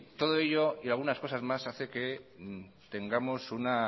todo ello y algunas cosas más hace que tengamos una